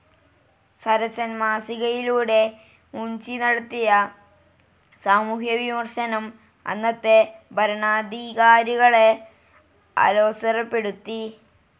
സരസൻ മാസികയിലൂടെ മുൻഷി നടത്തിയ സാമൂഹ്യ വിമർശനം അന്നത്തെ ഭരണാധികാരികളെ അലോസരപ്പെടുത്തി.